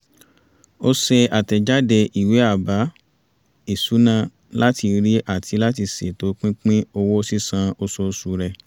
ó ṣe àtẹ̀jáde ìwé àbá-ìṣúná láti rí àti ṣètò pínpín owó sísan oṣooṣù rẹ̀